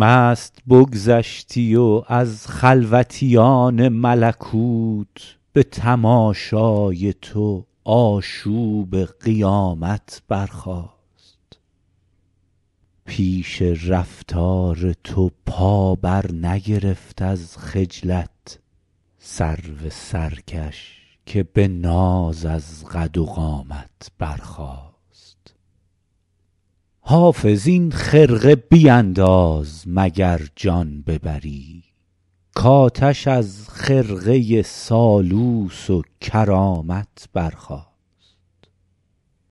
مست بگذشتی و از خلوتیان ملکوت به تماشای تو آشوب قیامت برخاست پیش رفتار تو پا برنگرفت از خجلت سرو سرکش که به ناز از قد و قامت برخاست حافظ این خرقه بینداز مگر جان ببری کآتش از خرقه سالوس و کرامت برخاست